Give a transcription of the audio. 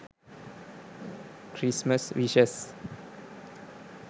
christmas wishes